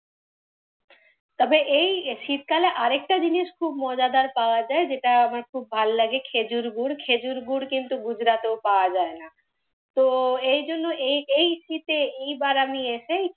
তবে এই শীতকালে আরেকটা জিনিস খুব মজাদার পাওয়া যায়, যেটা আমার খুব ভালো লাগে। খেজুর গুঁড়। খেজুর গুঁড় কিন্তু গুজরাটেও পাওয়া যায় না। তো এইজন্য এই এই শীতে এই বার আমি এসেই,